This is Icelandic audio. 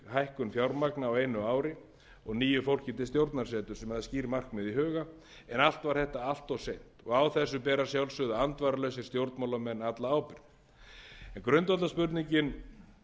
hækkun fjármagns ári og nýju fólki til stjórnarsetu sem er með skýr markmið í huga en allt var þetta allt of seint og á þessu bera að sjálfsögðu andvaralausir stjórnmálamenn alla ábyrgð en grundvallarspurningin